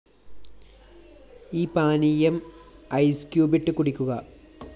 ഈ പാനീയം ഐസ്‌ക്യൂബിട്ട് കുടിക്കുക